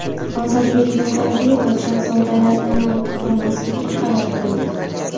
Ozodbek Nazarbekov Shahzodalardan ortda qolmaslikka qaror qildi.